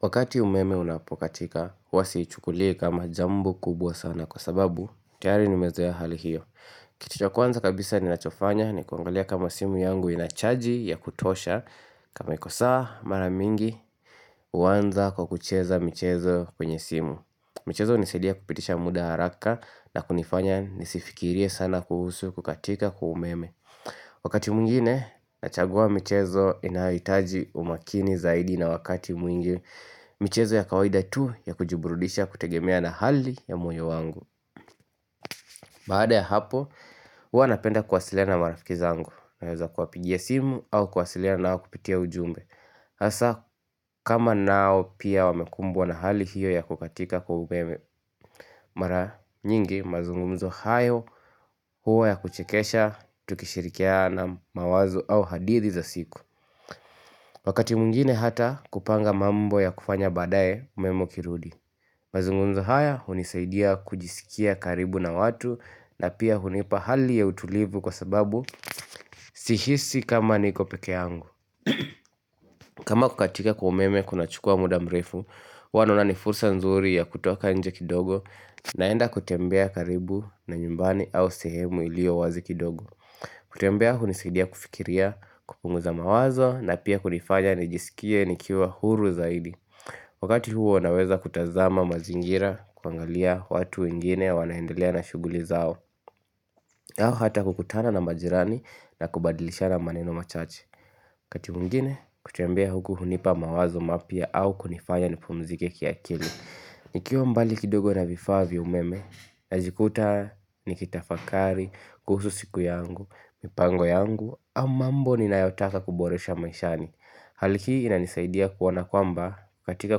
Wakati umeme unapokatika, huwa siichukulii kama jambo kubwa sana kwa sababu, tayari nimezoea hali hiyo Kitu cha kwanza kabisa ninachofanya ni kuangalia kama simu yangu inachaji ya kutosha kama iko sawa mara mingi, huanza kwa kucheza michezo kwenye simu michezo hunisidia kupitisha muda haraka na kunifanya nisifikirie sana kuhusu kukatika kwa meme Wakati mwingine, nachagua michezo inayohitaji umakini zaidi na wakati mwingi michezo ya kawaida tu ya kujiburudisha kutegemea na hali ya mwoyo wangu Baada ya hapo, huwa napenda kwasiliana na marafiki zangu Naweza kuwapigia simu au kuwasiliana nao kupitia ujumbe Hasa kama nao pia wamekumbwa na hali hiyo ya kukatika kwa umeme Mara nyingi mazungumzo hayo huwa ya kuchekesha tukishirikiana nao mawazo au hadithi za siku Wakati mwingine hata kupanga mambo ya kufanya badaye umeme kirudi Mazungunzo haya hunisaidia kujisikia karibu na watu na pia hunipa hali ya utulivu kwa sababu si hisi kama niko peke yangu kama kukatika kumeme kuna chukua muda mrefu, huwa naona ni fursa nzuri ya kutoka nje kidogo naenda kutembea karibu na nyumbani au sehemu iliyo wazi kidogo kutembea hunisaidia kufikiria kupunguza mawazo na pia kunifanya nijisikie nikiwa huru zaidi Wakati huo huwa naweza kutazama mazingira kuangalia watu wengine wanaendelea na shuguli zao yao hata kukutana na majirani na kubadilishana maneno machache Wakati mwingine kutembea huku hunipa mawazo mapya au kunifanya nipumzike kia akili nikiwa mbali kidogo na vifaa vya umeme najikuta nikitafakari kuhusu siku yangu, mipango yangu ama mambo ninayotaka kuboresha maishani Hali hii inanisaidia kuona kwamba ukatika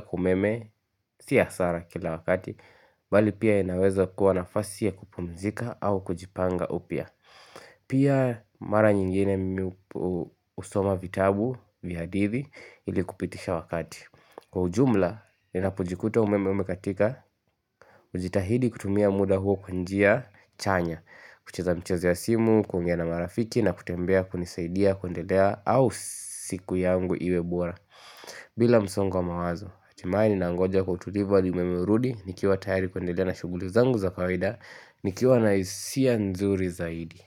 kwa umeme si hasara kila wakati Bali pia inaweza kuwa nafasi ya kupunzika au kujipanga upya Pia mara nyingine mimi kusoma vitabu vya hadithi ili kupitisha wakati Kwa ujumla ninapojikuta umeme umekatika hujitahidi kutumia muda huo kwa njia chanya kucheza michezo ya simu, kuongea na marafiki na kutembea kunisaidia kundelea au siku yangu iwe bora bila msongwo wa mawazo, hatimaye ninangoja kwa utulivu hadi umeme urudi nikiwa tayari kwendelea na shuguli zangu za kaweda nikiwa nahisia nzuri zaidi.